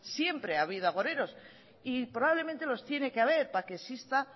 siempre ha habido agoreros y probablemente los tiene que haber para que exista